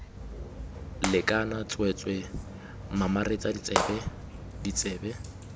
lekana tsweetswee mamaretsa tsebe ditsebe